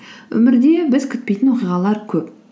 өмірде біз күтпейтін оқиғалар көп